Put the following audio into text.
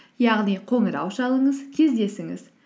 яғни қоңырау шалыңыз кездесіңіз